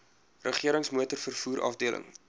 regerings motorvervoer afdeling